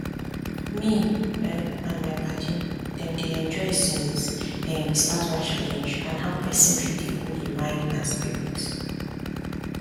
me um and my padi dem dey enjoy since um we start one challenge on how pesin fit dey cool im mind and spirit